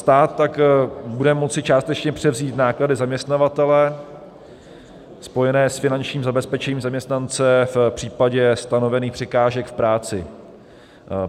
Stát tak bude moci částečně převzít náklady zaměstnavatele spojené s finančním zabezpečením zaměstnance v případě stanovených překážek v práci.